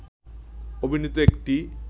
অভিনীত একটি